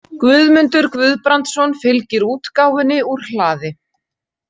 Guðmundur Guðbrandsson fylgir útgáfunni úr hlaði.